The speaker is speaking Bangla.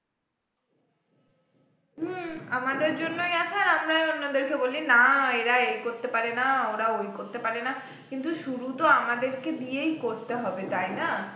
হম আমাদের জন্যই আছে আর আমরা অন্যদেরকে বলি না এরা এই করতে পারে না ওরা ওই করতে পারে না কিন্তু শুরু তো আমাদেরকে দিয়েই করতে হবে তাই না?